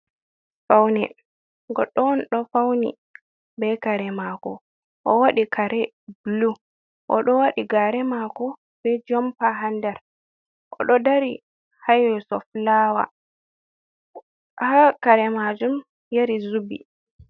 Faune goɗɗo on ɗo fauni be kare mako, o waɗi kare blu o ɗo waɗi ngare mako be jompa ha ndar o ɗo dari ha yeeso flawa, ha kare majum yari zubi.